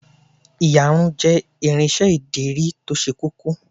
Ìyarun jẹ́ irinsẹ́ ìdirí to se kókó